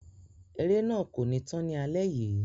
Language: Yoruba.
Eré náà kò ní tán ni alẹ yìí.